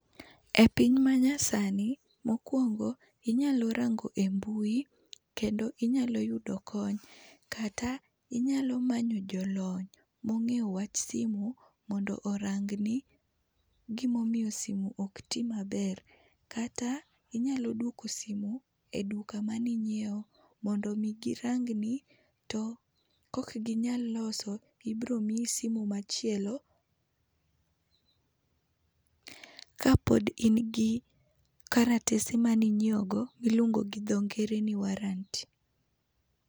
E piny manyasani mokwongo, inyalo rango e mbui kendo inyalo yudo kony. Kata inyalo manyo jolony mong'eyo wach simu mondo orang ni gima omiyo simu ok ti maber. Kata inyalo duoko simu e duka mani ng'iew mondo mi girang ni, to kok ginyal loso ibiro miyi simu machielo, kapod in gi kalatese mani ng'iewo go, miluongo gi dho ngere ni warranty.